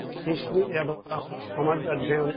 সেইখিনি সমাজ অধ্য়য়ন